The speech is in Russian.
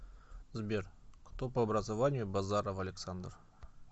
сбер кто по образованию базаров александр